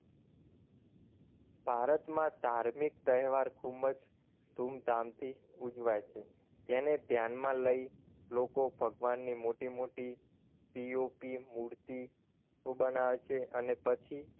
ભારતમાં ધાર્મિક તહેવાર ખૂબ જ ધૂમધામ થી ઉજવાય છે તેને ધ્યાનમાં લઇ લોકો ભગવાનની મોટી મોટી POP મૂર્તિ બનાવે છે અને પછી